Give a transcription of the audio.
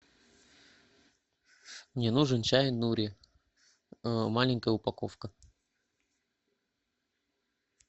мне нужен чай нури маленькая упаковка